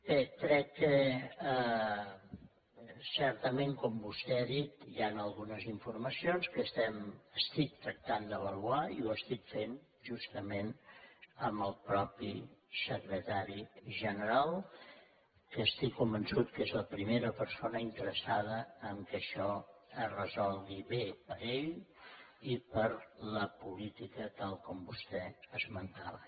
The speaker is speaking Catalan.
bé crec que certament com vostè ha dit hi han algunes informacions que estic tractant d’avaluar i ho estic fent justament amb el mateix secretari general que estic convençut que és la primera persona interessada que això es resolgui bé per a ell i per a la política tal com vostè esmentava